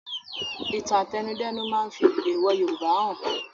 Ìtàn àtẹnudẹ́nu máa fi èèwò Yorùbá han